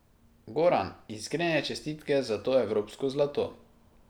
Goran, iskrene čestitke za to evropsko zlato.